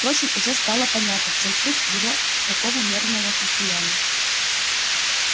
впрочем уже стало понятно в чем суть его такого нервного состояния